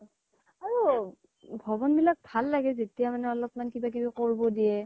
আৰু ভৱন বিলাক ভাল লাগে যেতিয়া মানে অলপ কিবা কিবি কৰিব দিয়ে